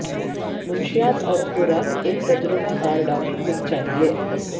منشیات اور خوراک ایک تجربہ کار ڈاکٹر لکھ چاہئے